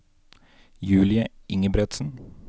Julie Ingebretsen